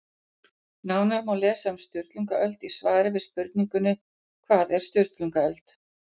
Nánar má lesa um Sturlungaöld í svari við spurningunni Hvað var Sturlungaöld?